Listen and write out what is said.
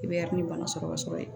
I bɛ bana sɔrɔ ka sɔrɔ yen